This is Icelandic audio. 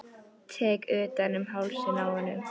Tek utan um hálsinn á honum.